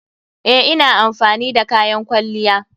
Eh, ina amfani da kayan kwalliya.